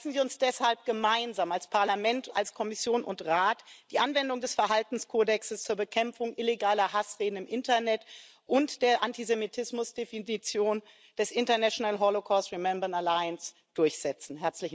Lassen Sie uns deshalb gemeinsam als Parlament, als Kommission und Rat die Anwendung des Verhaltenskodexes zur Bekämpfung illegaler Hassreden im Internet und der Antisemitismusdefinition der Internationalen Allianz für Holocaust Gedenken durchsetzen!